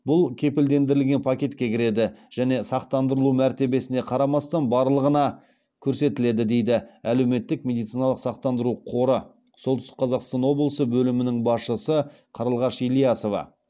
бұл кепілдендірілген пакетке кіреді және сақтандырылу мәртебесіне қарамастан барлығына көрсетіледі дейді әлеуметтік медициналық сақтандыру қоры солтүстік қазақстан облысы бөлімінің басшысы қарлығаш ілиясова